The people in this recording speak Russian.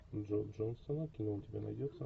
джо джонсона кино у тебя найдется